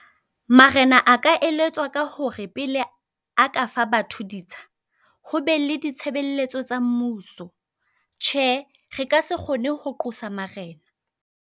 Marena a ka eletswa ka hore pele a ka fa batho ditsha, ho be le ditshebeletso tsa mmuso. Tjhe, re ka se kgone ho qosa marena.